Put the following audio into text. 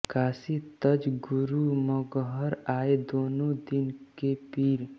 काँशी तज गुरु मगहर आये दोनों दीन के पीर